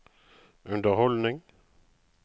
underholdning